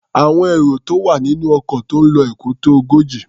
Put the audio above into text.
Àwọn èrò tó wà nínú ọkọ̀ tó ń lo Èkó tó ogójì.